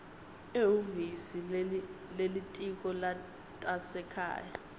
ehhovisi lelitiko letasekhaya